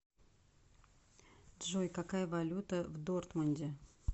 джой какая валюта в дортмунде